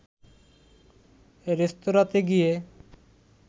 রেস্তোরাতে গিয়ে